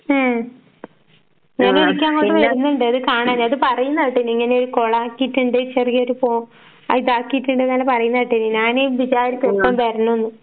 ഉം ഞാൻ ഇടയ്ക്ക് അങ്ങോട്ട് വരുന്നുണ്ട് അത് കാണാന്. അത് പറയുന്ന കേട്ട് ഇങ്ങനെ ഒരു കുളം ആക്കീട്ടുണ്ട് ചെറിയൊരു പോ ഇതാക്കിയിട്ടിണ്ടെന്നെല്ലാം പറയുന്ന കേട്ടീന് ഞാന് വിചാരിക്കുന്നുണ്ട് വരണൂന്ന്.